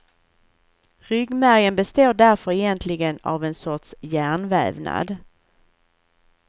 Ryggmärgen består därför egentligen av en sorts hjärnvävnad.